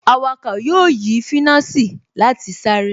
Awakọ̀ yóò yí finasi láti sáré